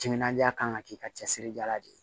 Timinandiya kan ka k'i ka cɛsiri dala de ye